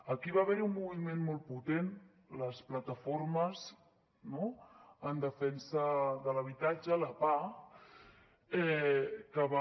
aquí va haver hi un moviment molt potent les plataformes no en defensa de l’habitatge la pah que va